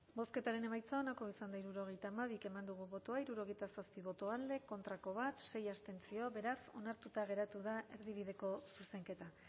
bozketaren emaitza onako izan da hirurogeita hamabi eman dugu bozka hirurogeita zazpi boto alde bat contra sei abstentzio beraz onartuta geratu da erdibideko zuzenketa